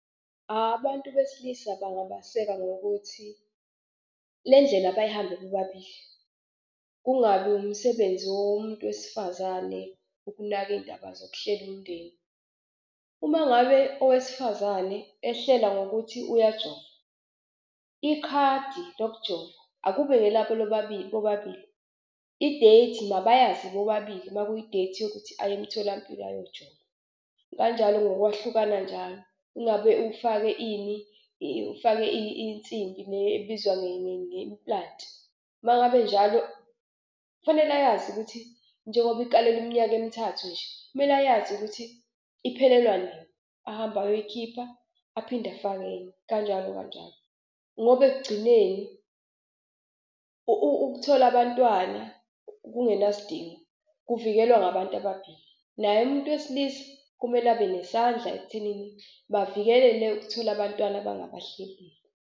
Abantu besilisa bangabaseka ngokuthi le ndlela bayihambe bobabili, kungabi umsebenzi womuntu wesifazane ukunaka iy'ndaba zokuhlela umndeni. Uma ngabe owesifazane ehlela ngokuthi uyajova, ikhadi lokujova akube ngelabo bobabili i-date mabayazi bobabili makuyi-date yokuthi aye emtholampilo ayojova. Kanjalo ngokwahlukana njalo, ingabe ufake ini ufake insimbi le ebizwa nge-implant. Uma ngabe njalo kufanele ayazi ukuthi njengoba ikalelwe iminyaka emithathu nje, kumele ayazi ukuthi iphelelwa nini, ahambe ayoyikhipha aphinde afake enye kanjalo kanjalo ngoba ekugcineni ukuthola abantwana kungenasidingo kuvikelwa ngabantu ababili. Naye umuntu wesilisa kumele abe nesandla ekuthenini bavikelele ukuthola abantwana abangabahlelile.